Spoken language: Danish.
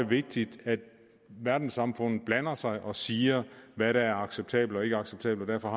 vigtigt at verdenssamfundet blander sig og siger hvad der er acceptabelt og ikke acceptabelt og